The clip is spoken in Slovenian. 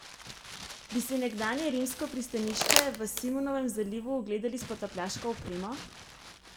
Bi si nekdanje rimsko pristanišče v Simonovem zalivu ogledali s potapljaško opremo?